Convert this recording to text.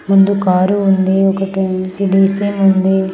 ముందు కార్ ఉంది ఒకటి ఉంది --